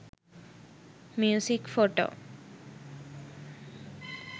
music photo